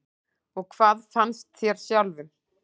Og hvað fannst þér sjálfum?